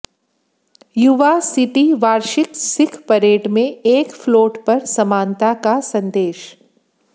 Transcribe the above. यूबा City वार्षिक Sikh parade में एक फ्लोट पर समानता का संदेश